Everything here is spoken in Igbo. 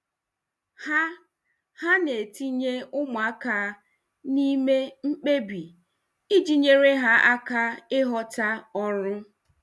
Ha Ha na-etinye ụmụaka n'ime mkpebi iji nyere ha aka ịghọta ọrụ.